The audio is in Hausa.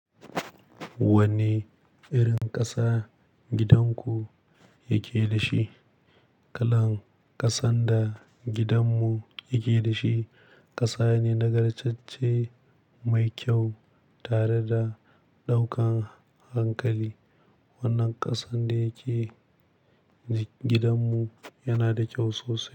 Wanne irin ƙasa gidan ku yake da shi? Kalan kasan da gidan mu yake da shi, ƙasa ne na gar-cecce mai kyau tare da ɗaukan hankali. Wannan kasan da yake gidan mu, yana da kyau sosai.